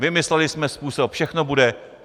Vymysleli jsme způsob, všechno bude."